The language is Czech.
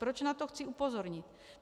Proč na to chci upozornit?